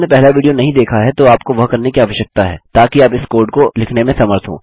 यदि आपने पहला विडियो नहीं देखा है तो आपको वह करने की आवश्यकता है ताकि आप इस कोड को लिखने में समर्थ हों